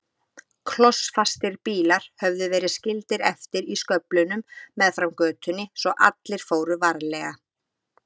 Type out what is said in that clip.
Klossfastir bílar höfðu verið skildir eftir í sköflunum meðfram götunni svo allir fóru varlega.